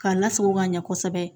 K'a lasago ka ɲɛ kosɛbɛ